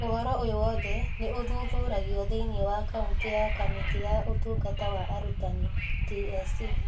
Ũhoro ũyũ wothe nĩ ũthuthuragio thĩinĩ wa kaunti nĩ Kamĩtĩ ya Ũtungata wa Arutani (TSC).